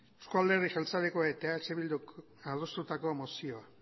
euzko alderdi jeltzaleak eta eh bilduk adostutako mozioa